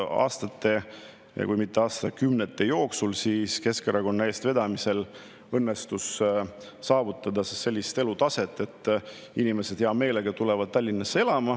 Aastate, kui mitte aastakümnete jooksul õnnestus Keskerakonna eestvedamisel saavutada selline elatustase, et inimesed hea meelega tulevad Tallinnasse elama.